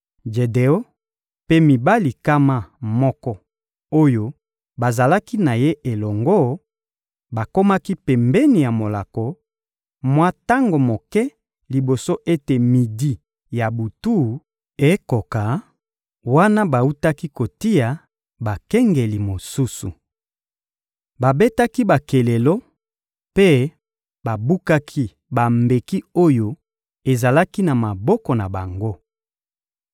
Jedeon mpe mibali nkama moko oyo bazalaki na ye elongo, bakomaki pembeni ya molako, mwa tango moke liboso ete midi ya butu ekoka, wana bawutaki kotia bakengeli mosusu. Babetaki bakelelo mpe babukaki bambeki oyo ezalaki na maboko na bango.